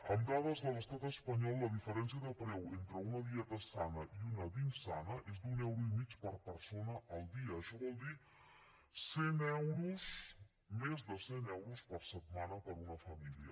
amb dades de l’estat espanyol la diferència de preu entre una dieta sana i una d’insana és d’un euro i mig per persona el dia això vol dir cent euros més de cent euros per setmana per a una família